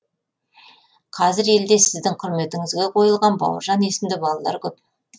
қазір елде сіздің құрметіңізге қойылған бауыржан есімді балалар көп